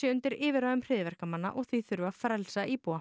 undir yfirráðum hryðjuverkamanna og því þurfi að frelsa íbúa